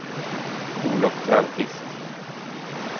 Olov Törnqvist